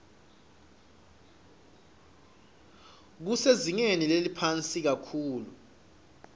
kusezingeni leliphansi kakhulu